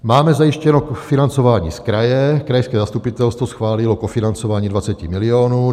Máme zajištěno financování z kraje, krajské zastupitelstvo schválilo kofinancování 20 milionů.